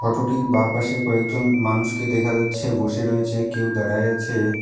ফটোটির বাঁপাশে কয়েকজন মানুষকে দেখা যাচ্ছে বসে রয়েছে কেউ দাঁড়াই আছে।